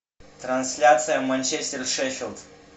трансляция манчестер шеффилд